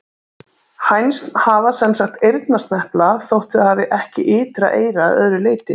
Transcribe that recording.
Hænsn hafa sem sagt eyrnasnepla þótt þau hafi ekki ytra eyra að öðru leyti.